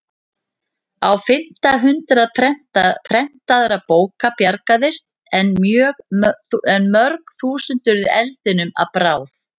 Á fimmta hundrað prentaðra bóka bjargaðist en mörg þúsund urðu eldinum að bráð.